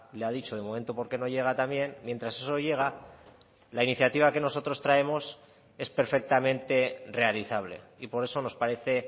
le ha dicho de momento porque no llega también mientras eso llega la iniciativa que nosotros traemos es perfectamente realizable y por eso nos parece